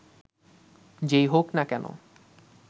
যেই হোক না কেন